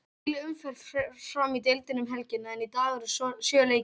Heil umferð fer fram í deildinni um helgina, en í dag eru sjö leikir.